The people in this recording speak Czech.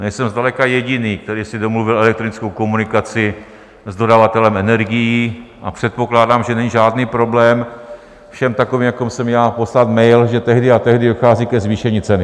Nejsem zdaleka jediný, který si domluvil elektronickou komunikaci s dodavatelem energií, a předpokládám, že není žádný problém všem takovým, jako jsem já, poslat mail, že tehdy a tehdy dochází ke zvýšení ceny.